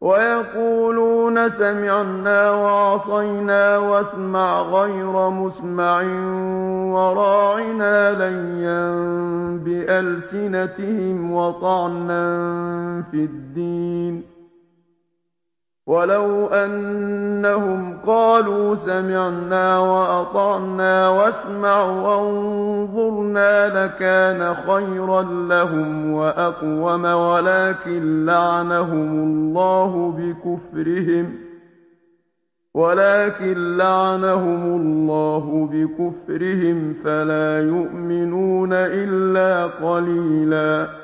وَيَقُولُونَ سَمِعْنَا وَعَصَيْنَا وَاسْمَعْ غَيْرَ مُسْمَعٍ وَرَاعِنَا لَيًّا بِأَلْسِنَتِهِمْ وَطَعْنًا فِي الدِّينِ ۚ وَلَوْ أَنَّهُمْ قَالُوا سَمِعْنَا وَأَطَعْنَا وَاسْمَعْ وَانظُرْنَا لَكَانَ خَيْرًا لَّهُمْ وَأَقْوَمَ وَلَٰكِن لَّعَنَهُمُ اللَّهُ بِكُفْرِهِمْ فَلَا يُؤْمِنُونَ إِلَّا قَلِيلًا